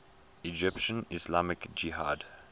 egyptian islamic jihad